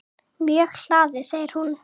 Mjög hlaðið segir hún.